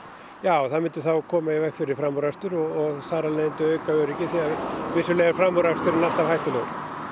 já það myndi koma í veg fyrir framúrakstur og auka öryggi því vissulega er framúraksturinn alltaf hættulegur